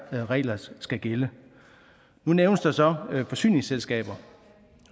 regler skal gælde nu nævnes der så forsyningsselskaber